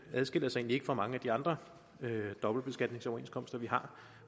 adskiller sig egentlig ikke fra mange af de andre dobbeltbeskatningsoverenskomster vi har